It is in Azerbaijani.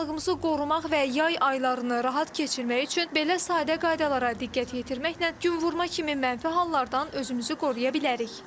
Sağlamlığımızı qorumaq və yay aylarını rahat keçirmək üçün belə sadə qaydalara diqqət yetirməklə günvurma kimi mənfi hallardan özümüzü qoruya bilərik.